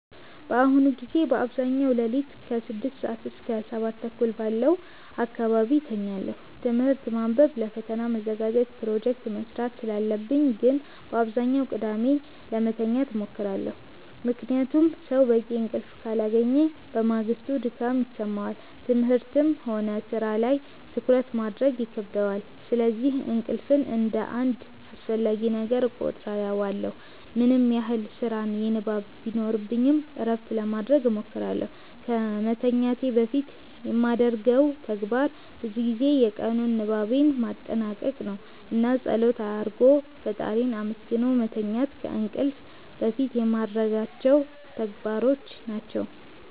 በአሁኑ ጊዜ በአብዛኛው ሌሊት ከ6 ሰዓት እስከ 7:30 ባለው አካባቢ እተኛለሁ። ትምህርት ማንበብ ለፈተና መዘጋጀት ፕሮጀክት መስራት ስላለብኝ ግን በአብዛኛው ቀድሜ ለመተኛት እሞክራለሁ። ምክንያቱም ሰው በቂ እንቅልፍ ካላገኘ በማግስቱ ድካም ይሰማዋል፣ ትምህርትም ሆነ ሥራ ላይ ትኩረት ማድረግ ይከብደዋል። ስለዚህ እንቅልፍን እንደ አንድ አስፈላጊ ነገር እቆጥረዋለሁ። ምንም ያህል ስራና ንባብ ቢኖርብኝ እረፍት ለማረግ እሞክራለሁ። ከመተኛቴ በፊት የማደርገው ተግባር ብዙ ጊዜ የቀኑን ንባቤን ማጠናቀቅ ነው። እና ፀሎት አርጎ ፈጣሪን አመስግኖ መተኛት ከእንቅልፍ በፊት የማረጋቸው ተግባሮች ናቸው።